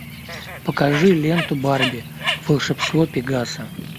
покажи ленту барби волшебство пегаса